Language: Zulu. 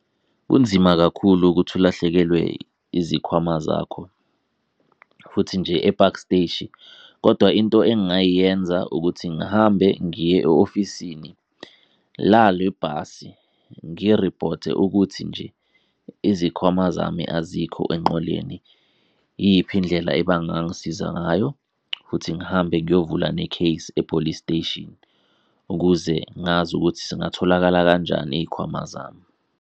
Kunzima kakhulu ukuthi ulahlekelwe izikhwama zakho futhi nje ePaki Siteshi, kodwa into engayenza ukuthi ngihambe ngiye e-ofisini lale bhasi ngi-report-e ukuthi nje izikhwama zami azikho enqoleni, iyiphi indlela ebangangisiza ngayo. Futhi ngihambe ngiyovula ne-case e-Police Station, ukuze ngazi ukuthi zingatholakala kanjani iy'khwama zami.